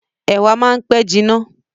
Ẹ̀wà máa ń pẹ́ jiná.